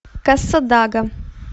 кассадага